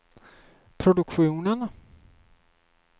produktionen